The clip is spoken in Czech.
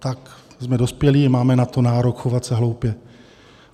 Tak jsme dospělí, máme na to nárok se chovat hloupě.